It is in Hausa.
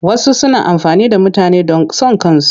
Wasu suna amfani da mutane don son kansu.